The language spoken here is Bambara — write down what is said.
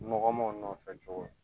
Nɔgɔman nɔfɛ cogo di